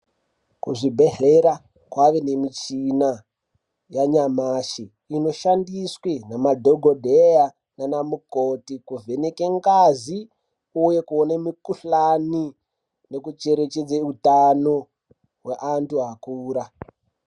Ku zvibhedhlera kwane ne michina ya nyamashi ino shandiswe nema dhokodheya nana mukoti ku vheneka ngazi uye kuone mi kuhlani neku chere chedza utano we antu akura.